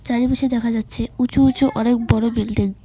চারিপাশে দেখা যাচ্ছে উঁচু উঁচু অনেক বড়ো বিল্ডিং ।